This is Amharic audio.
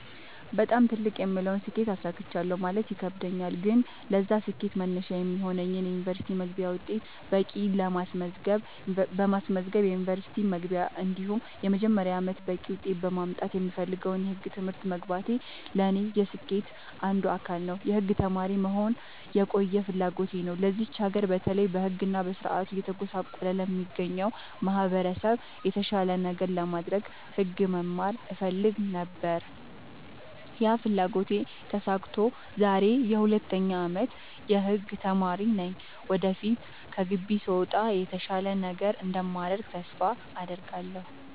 በጣም ትልቅ የምለውን ስኬት አሳክቻለሁ ማለት ይከብደኛል። ግን ለዛ ስኬት መነሻ የሚሆነኝን የ ዩኒቨርስቲ መግቢያ ውጤት በቂ በማስመዝገብ ዩንቨርስቲ መግባቴ እንዲሁም የመጀመሪያ አመቴን በቂ ውጤት በማምጣት የምፈልገውን የህግ ትምህርት መግባቴ ለኔ የስኬቴ አንዱ አካል ነው። የህግ ተማሪ መሆን የቆየ ፍላጎቴ ነው ለዚች ሀገር በተለይ በህግ እና በስርዓቱ እየተጎሳቆለ ለሚገኘው ማህበረሰብ የተሻለ ነገር ለማድረግ ህግ መማር እፈልግ ነበር ያ ፍላጎቴ ተሳክቶ ዛሬ የ 2ኛ አመት የህግ ተማሪ ነኝ ወደፊት ከግቢ ስወጣ የተሻለ ነገር እንደማደርግ ተስፋ አድርጋለሁ።